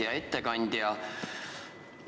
Hea ettekandja!